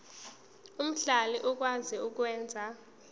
omhlali okwazi ukwenza